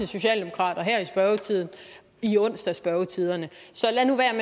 socialdemokrater her i onsdagsspørgetiderne så lad nu være